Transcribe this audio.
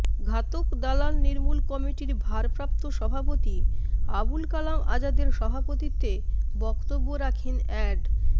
ঘাতক দালাল নির্মূল কমিটির ভারপ্রাপ্ত সভাপতি আবুল কালাম আজাদের সভাপতিত্বে বক্তব্য রাখেন অ্যাড